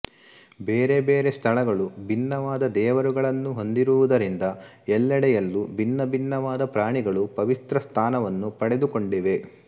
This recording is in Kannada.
ಬೇರೆಬೇರೆ ಸ್ಥಳಗಳು ಭಿನ್ನವಾದ ದೇವರುಗಳನ್ನು ಹೊಂದಿರುವುದರಿಂದ ಎಲ್ಲೆಡೆಯಲ್ಲೂ ಭಿನ್ನಭಿನ್ನವಾದ ಪ್ರಾಣಿಗಳು ಪವಿತ್ರಸ್ಥಾನವನ್ನು ಪಡೆದುಕೊಂಡಿವೆ